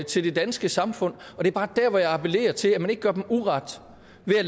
til det danske samfund det er bare dér jeg appellerer til at man ikke gør dem uret ved at